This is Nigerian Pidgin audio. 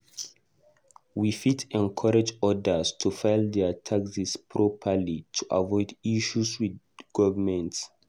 We fit encourage others to file their taxes properly to avoid issues with government.